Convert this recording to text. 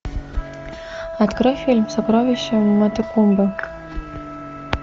открой фильм сокровище матекумбе